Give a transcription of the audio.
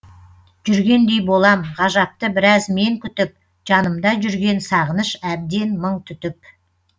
жүргендей болам ғажапты біраз мен күтіп жанымда жүрген сағыныш әбден мың түтіп